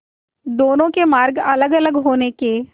दोनों के मार्ग अलगअलग होने के